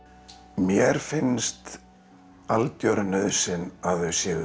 mér finnst algjör nauðsyn að þau séu